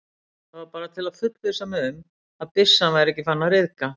Það var bara til að fullvissa mig um, að byssan væri ekki farin að ryðga